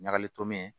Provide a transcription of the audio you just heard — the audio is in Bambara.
Ɲagali tomi